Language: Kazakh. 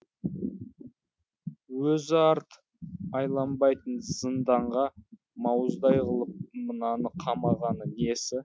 өзі арт айланбайтын зынданға мауыздай қылып мынаны қамағаны несі